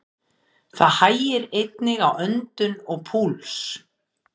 Það hægir einnig á öndun og púls.